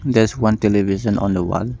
There is one television on the wall.